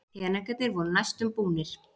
Peningarnir voru næstum búnir.